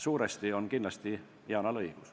Suuresti on Yanal kindlasti õigus.